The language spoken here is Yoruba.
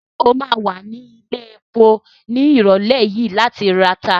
Ṣé o ma wà ní ilẹ̀epo ní ìrọ̀lẹ́ yìí láti rata?